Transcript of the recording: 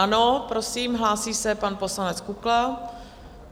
Ano, prosím, hlásí se pan poslanec Kukla.